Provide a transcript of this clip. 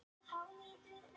Heldurðu örugglega vinnunni?